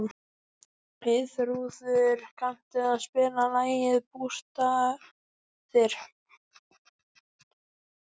Eyþrúður, kanntu að spila lagið „Bústaðir“?